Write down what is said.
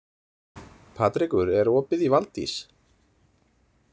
Patrekur, er opið í Valdís?